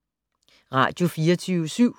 Radio24syv